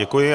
Děkuji.